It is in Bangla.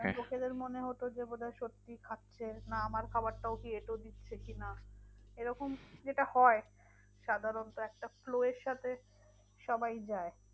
খেলে মনে হতো যে বোধহয় সত্যি খাচ্ছে। না আমার খাবারটাও কি এঁটো দিচ্ছে কি না? এরকম যেটা হয় সাধারণত একটা flow এর সাথে সবাই যায়।